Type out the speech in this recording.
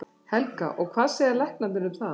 Helga: Og hvað segja læknarnir um það?